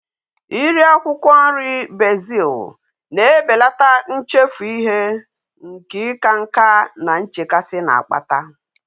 Iri akwụkwọ nri bezil na-ebelata nchefu ihe nke ịka nká na nchekasị na-akpata